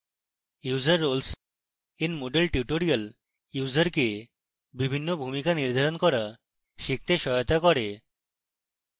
user roles in moodle tutorial ইউসারকে বিভিন্ন ভূমিকা নির্ধারণ করা শিখতে সহায়তা করবে